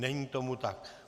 Není tomu tak.